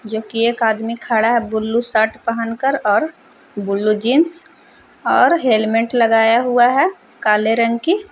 जो कि एक आदमी खड़ा है ब्लू शर्ट पहन कर और ब्लू जीन्स और हेलमेट लगाया हुआ है काले रंग की--